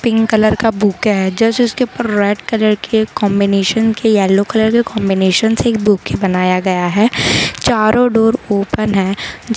pink colour का bouquet है जैसे उसके ऊपर रेड कलर के कॉम्बिनेशन के येलो कलर है कॉन्बिनेशन से एक बुके बनाया गया हैं चारों डोर ओपन हैं ज --